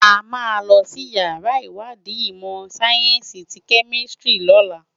Ámá lòsi iyàrá iwádi imò sáyènsi ti kèmisitiri lòlá